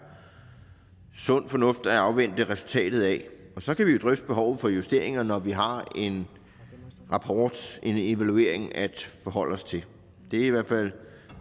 sund fornuft at afvente resultatet af og så kan vi drøfte behovet for justeringer når vi har en rapport en evaluering at forholde os til det er i hvert fald